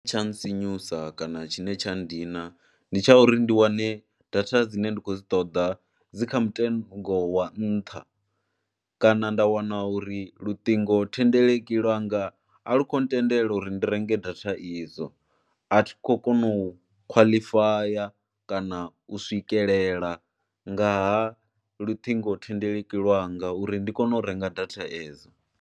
Tsha ntsinyusa kana tshine tsha dina ndi tsha uri ndi wane data dzine ndi khou dzi ṱoḓa dzi kha mutengo wa nṱha kana nda wana uri luṱingothendeleki lwanga a lu khou ntendela uri ndi renge data idzo. A thi khou kona u khwaḽifaya kana u swikelela nga ha luṱingothendeleki lwanga uri ndi kone u renga data edzo.